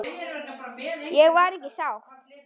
Ég var ekki sátt.